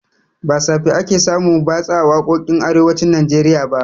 Ba safe ake samun batsa a waƙoƙin arewacin najeriya ba